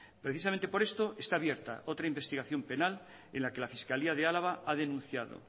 precisamente por esto está abierta otra investigación penal en la que la fiscalía de álava ha denunciado